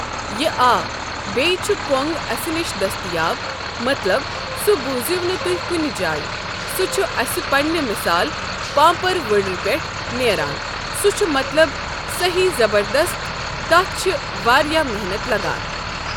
یہِ آ بیٚیہِ چھُ کۄنگ اَسہِ نِش دٔستِیاب مطلب سُہ بوٗزِو نہٕ تُہۍ کُنہِ جایہِ سُہ چھُ اَسہِ پننہِ مِثال پانٛپر وُڑرِ پٮ۪ٹھ نیران سُہ چھُ مطلب صٔحیح زَبردست تَتھ چھِ واریاہ محنت لگان۔